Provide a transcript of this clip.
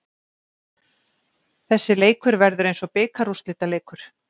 Þessi leikur verður eins og bikarúrslitaleikur.